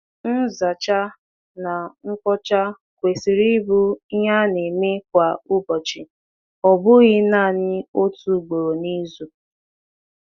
Usoro ihicha kwesịrị ịbụ ihicha kwesịrị ịbụ akụkụ nke usoro ụbọchị kwa ụbọchị, ọ bụghị otu ugboro n’izu.